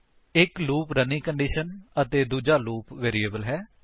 ਇੱਕ loop running condition ਅਤੇ ਦੂਜਾ ਲੂਪ ਵੈਰਿਏਬਲ ਹੈ